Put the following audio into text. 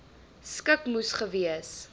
skik moes gewees